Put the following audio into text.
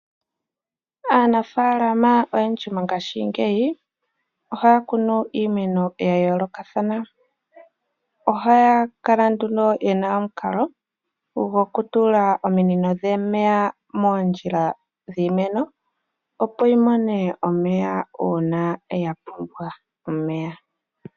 Aanafaalama oyendji mongashingeyi ohaya kunu iimeno ya yoolokathana. Ohaya kala nduno ye na omukalo gokutula omunino dhomeya moondjila dhiimeno opo yimone omeya uuna ya pumbwa omeya.